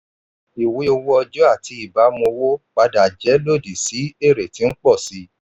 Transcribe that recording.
ìwé owó ọjọ́ àti ìbámu owó padà jẹ́ lòdì sí èrè tí ń pọ̀ sí i.